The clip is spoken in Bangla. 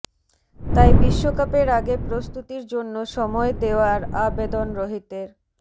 তাই বিশ্বকাপের আগে প্রস্তুতির জন্য সময় দেওয়ার আবেদন রোহিতের